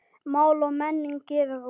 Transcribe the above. Mál og menning gefur út.